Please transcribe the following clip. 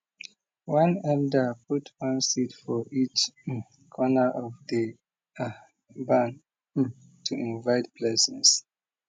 one elder put one seed for each um corner of di um barn um to invite blessings